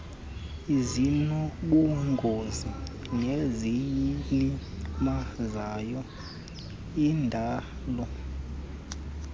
ezinobungozi neziyilimazayo indalo